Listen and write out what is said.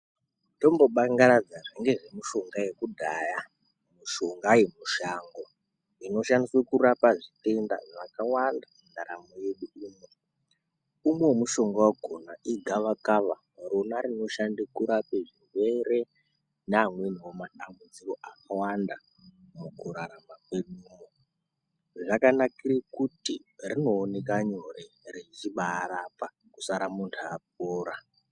Tombobangaradza zvinonga zvemishonga yakudhaya mishonga yemushango. Inoshandiswe kurapa zvitenda zvakawanda mundaramo yedu umu. Imwe yemishonga vakona igavakava rona rinoshande kurape zvirwere neamwenivo matambudziko akawanda mukurarama kwedu muno. Zvakanakire kuti rinooneka nyore rechibarapa kusara muntu apora.